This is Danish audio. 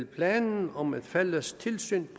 planen om et fælles tilsyn